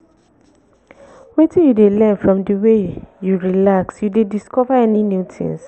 wetin you dey learn from di way you relax you dey discover any new tings?